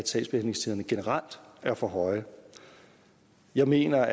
sagsbehandlingstiderne generelt er for høje jeg mener